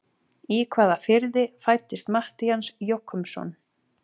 Í hvaða firði fæddist Matthías Jochumsson?